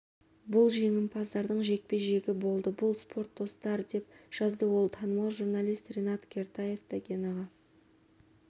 бұл жеңімпаздардың жекпе-жегі болды бұл спорт достар деп жазды ол танымал журналит ринат кертаев та генаға